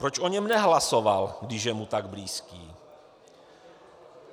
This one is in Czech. Proč o něm nehlasoval, když je mu tak blízký?